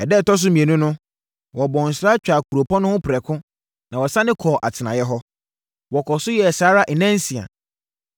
Ɛda a ɛtɔ so mmienu no, wɔbɔɔ nsra twaa kuropɔn no ho prɛko, na wɔsane kɔɔ atenaeɛ hɔ. Wɔkɔɔ so yɛɛ saa ara nnansia.